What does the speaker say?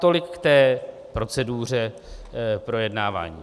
Tolik k té proceduře projednávání.